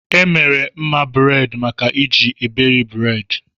E mere mma buredi maka iji iberi buredi